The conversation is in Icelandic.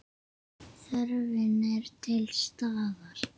Þörfin er til staðar.